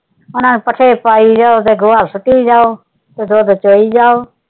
ਉਹਨਾਂ ਨੂੰ ਪੱਠੇ ਪਾਈ ਜਾਓ ਤੇ ਗੋਹਾ ਸੁੱਟੀ ਜਾਓ, ਤੇ ਦੁੱਧ ਚੋਈ ਜਾਓ।